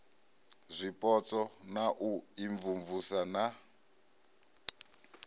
zwipotso na u imvumvusa na